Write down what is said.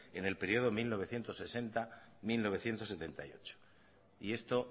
en el periodo mil novecientos sesenta mil novecientos setenta y ocho y esto